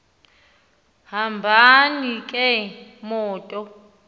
hambani ke mathol